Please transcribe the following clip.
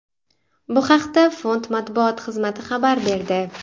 Bu haqda fond matbuot xizmati xabar berdi .